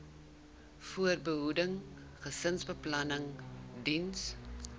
voorbehoeding gesinsbeplanning diens